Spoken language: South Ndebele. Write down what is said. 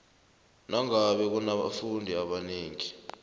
nangabe kunabafundi abanengi